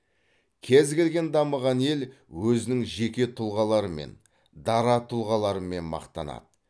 кез келген дамыған ел өзінің жеке тұлғаларымен дара тұлғаларымен мақтанады